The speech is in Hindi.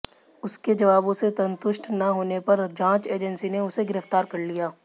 उसके जवाबों से संतुष्ट न होने पर जांच एजेंसी ने उसे गिरफ्तार कर लिया